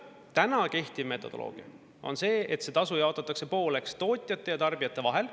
Täna kehtiv metodoloogia on see, et see tasu jaotatakse pooleks tootjate ja tarbijate vahel.